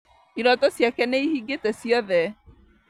Iroto ciake nĩihingĩte ciothe